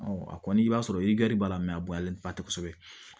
a kɔni i b'a sɔrɔ i gari b'a la mɛ a bɔlen tɛ kosɛbɛ